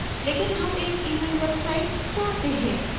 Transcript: लेकिन हम एक event website चाहते हैं